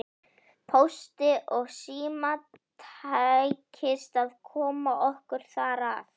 Pósti og Síma tækist að koma okkur þar að.